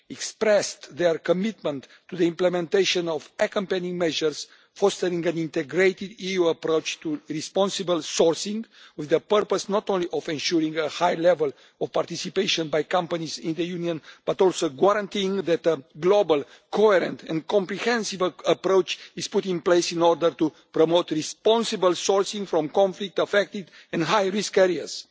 expressed their commitment to the implementation of accompanying measures for an integrated EU approach to responsible sourcing, with the purpose not only of ensuring a high level of participation by companies in the Union, but also of guaranteeing that a global, coherent and comprehensive approach is put in place in order to promote responsible sourcing from conflict affected and high risk areas.